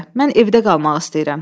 Mən evdə qalmaq istəyirəm.